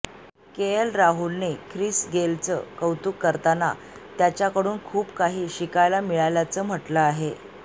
KL राहुलने Chris गेलचे कौतुक करताना त्याच्याकडून खूप काही शिकायला मिळाल्याचं म्हटलं आहे